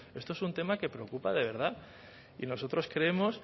esto es un tema que preocupa de verdad y nosotros creemos